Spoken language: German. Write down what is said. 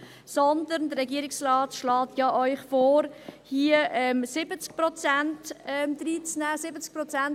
Hingegen schlägt Ihnen der Regierungsrat vor, hier 70 Prozent hineinzunehmen.